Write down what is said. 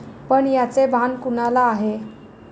पण याचे भान कुणाला आहे?